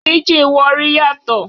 Píjìn Warri yàtọ̀.